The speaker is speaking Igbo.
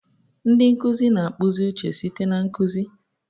Ndi nkuzi na-akpụzi uche site na nkuzi.